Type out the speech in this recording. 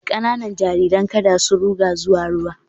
Kananan jariran kada sun ruga zuwa ruwa